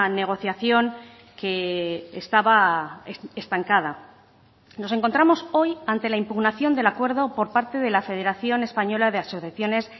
negociación que estaba estancada nos encontramos hoy ante la impugnación del acuerdo por parte de la federación española de asociaciones